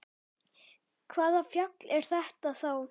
Hvaða fjall er þetta þá?